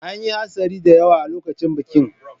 An yi hatsari da yawa a lokacin bikin.